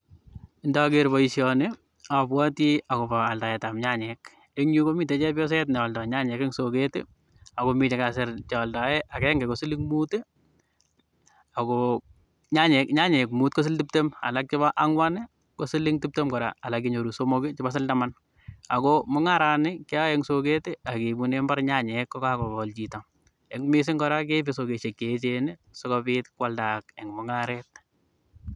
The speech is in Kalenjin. nager boisyoni abwati akobo aldaetab nyanyek, eng yu komiten chepyoset ngealda nyanyek eng tuket, akomi vhekasir chealdae akenge ko siling Mut, Ako nyanyek Mut ko siling tibtem alak chebo angwan ko siling tibtem koraa, alak menyoru somok chebo siling taman,